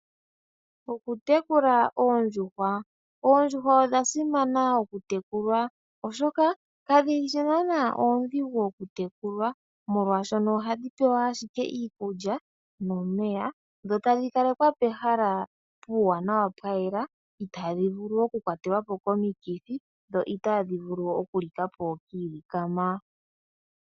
Okutekula oondjuhwa, oondjuhwa odha simana oku tekulwa, oshoka kadhi shi naana oondhigu okutekulwa, molwaashono ohadhi pewa ashike omeya niikulya dho tadhi kala pehala puuwanawa pwayela nawa itaadhi vulu oku kwatelwa po komikithi dho itaadhi vulu oku li ka po kiilikama.